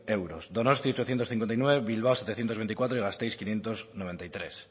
euros donosti ochocientos cincuenta y nueve bilbao setecientos veinticuatro y gasteiz quinientos noventa y tres